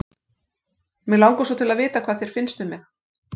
Mig langar svo til að vita hvað þér finnst um mig.